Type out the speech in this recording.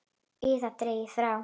ið dregið frá.